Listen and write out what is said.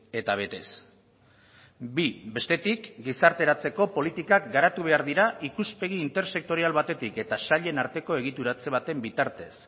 eta betez bi bestetik gizarteratzeko politikak garatu behar dira ikuspegi intersektorial batetik eta sailen arteko egituratze baten bitartez